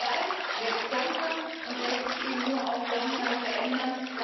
Der Wald wächst langsam und lässt sich eben auch nur langsam verändern.